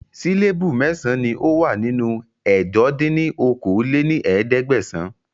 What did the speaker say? Síléébù mẹ́san ni ó wà nínú ẹ̀jọ dín ní okòó-lé-ní-ẹ̀ẹ́dẹ́gbẹ́sán